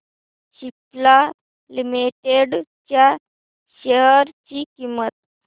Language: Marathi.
सिप्ला लिमिटेड च्या शेअर ची किंमत